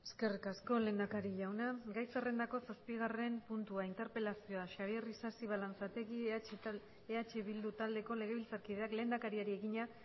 eskerrik asko lehendakari jauna gai zerrendako zazpigarren puntua interpelazioa xabier isasi balanzategi eh bildu taldeko legebiltzarkideak lehendakariari egina